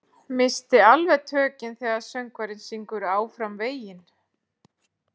Missi alveg tökin þegar söngvarinn syngur Áfram veginn.